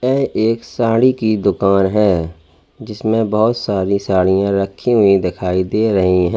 ये एक साड़ी की दुकान है जिसमे बोहोत सारी साड़िया रखी हुई दिखाई दे रही हैं।